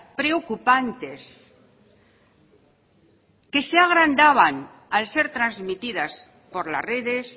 preocupantes que se agrandaban al ser transmitidas por las redes